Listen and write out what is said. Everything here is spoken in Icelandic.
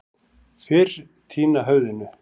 Fyrr týna höfðinu.